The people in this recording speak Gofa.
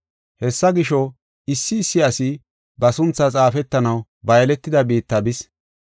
Hessa gisho, issi issi asi ba sunthaa xaafetanaw ba yeletida biitta bis.